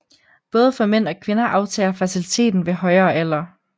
Både for mænd og kvinder aftager fertiliteten ved højere alder